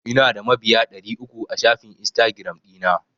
Ina da mabiya ɗari uku a shafin Instagiram ɗina.